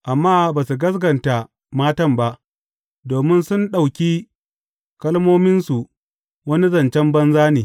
Amma ba su gaskata matan ba, domin sun ɗauki kalmominsu wani zancen banza ne.